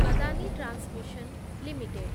Adani transmission limited